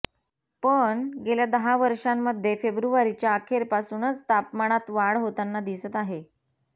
पण गेल्या दहा वर्षांमध्ये फेब्रुवारीच्या अखेरपासूनच तापमानात वाढ होताना दिसत आहे